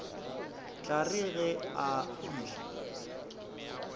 tla re ge a fihla